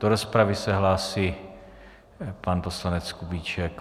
Do rozpravy se hlásí pan poslanec Kubíček.